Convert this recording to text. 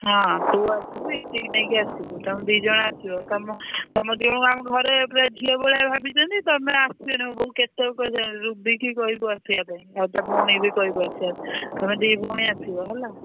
ହଁ ତୁ ଆସିବୁ ଇତି କି ନେଇକି ଆସିବୁ ତମେ ଦି ଜଣ ଆସିବ। ତମ ତମ ଦି ଜଣଙ୍କୁ ଆମ ଘରେ ପୁରା ଝିଅ ଭଳିଆ ଭାବିଛନ୍ତି ତମେ ଆସିବନି। ମୋ ବୋଉ କେତେ ଥର କହିସାଇଲାଣି ରୁବିକି କହିବୁ ଆସିଆ ପାଇଁ ଆଉ ତା ଭଉଣୀକି ବି କହିବୁ ଆସିଆକୁ। ତମେ ଦି ଭଉଣୀ ଆସିବ ହେଲା।